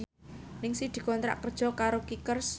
Ningsih dikontrak kerja karo Kickers